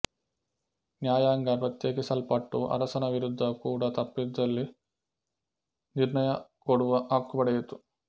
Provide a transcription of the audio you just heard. ನ್ಯಾಯಾಂಗ ಪ್ರತ್ಯೇಕಿಸಲ್ಪಟ್ಟು ಅರಸನ ವಿರುದ್ಧ ಕೂಡ ತಪ್ಪಿದ್ದಲ್ಲಿ ನಿರ್ಣಯ ಕೊಡುವ ಹಕ್ಕು ಪಡೆಯಿತು